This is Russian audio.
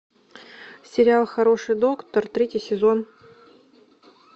сериал хороший доктор третий сезон